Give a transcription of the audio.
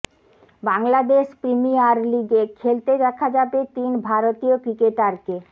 Bangladesh premier লিগে খেলতে দেখা যাবে তিন ভারতীয় ক্রিকেটারকে